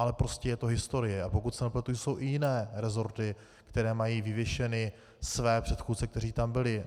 Ale prostě je to historie, a pokud se nepletu, jsou i jiné resorty, které mají vyvěšeny své předchůdce, kteří tam byli.